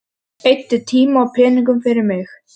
Eyddi tíma og peningum fyrir mig.